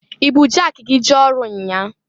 I bụ jaki gi jee ọrụ nnyaa?